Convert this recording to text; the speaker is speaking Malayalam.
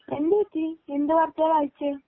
എന്ത് പറ്റി എന്ത് വാർത്തയാണ് വായിച്ചത്